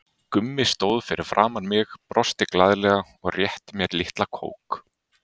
Gummi stóð fyrir framan mig, brosti glaðlega og rétti mér litla kók.